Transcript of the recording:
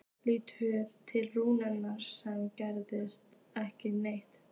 Lítur til Rúnu sem segir ekki neitt.